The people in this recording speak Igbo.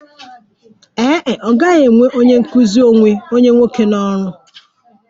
Ee e, ọ gaghị ewe onye nkụzi onwe onye nwoke n'ọrụ